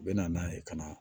U bɛ na n'a ye ka na